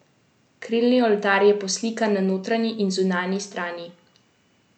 Krilni oltar je poslikan na notranji in zunanji strani.